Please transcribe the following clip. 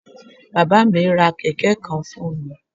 Bàbá à mí ra Kẹ̀kẹ́ kan fún mi